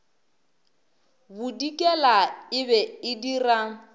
bodikela e be e dira